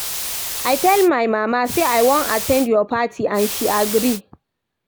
I tell my mama say I wan at ten d your party and she agree